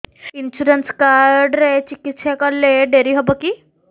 insurance card ରେ ଚିକିତ୍ସା କଲେ ଡେରି ହବକି